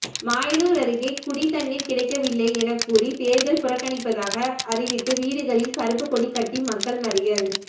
மாயனூர் அருகே குடி தண்ணீர் கிடைக்கவில்லை எனக்கூறி தேர்தல் புறக்கணிப்பதாக அறிவித்து வீடுகளில் கருப்பு கொடி கட்டி மக்கள் மறியல்